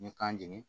N ye kan jeni